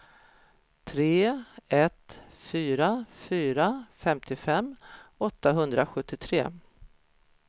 tre ett fyra fyra femtiofem åttahundrasjuttiotre